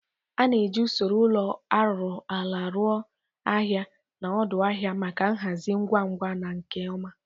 A ga-eji usoro ụlọ arụrụ ala rụo ahịa na odu ahịa maka nhazi ngwa ngwa na nke ọma.